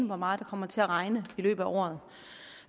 hvor meget det kommer til at regne i løbet